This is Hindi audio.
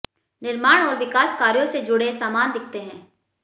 निर्माण और विकास कार्यों से जुड़े सामान दिखते हैं